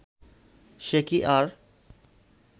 সে কি আর